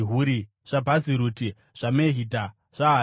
zvaBhaziruti, zvaMehidha, zvaHarisha,